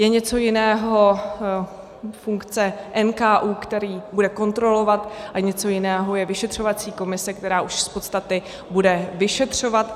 Je něco jiného funkce NKÚ, který bude kontrolovat, a něco jiného je vyšetřovací komise, která už z podstaty bude vyšetřovat.